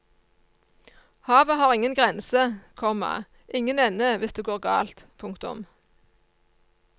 Havet har ingen grense, komma ingen ende hvis det går galt. punktum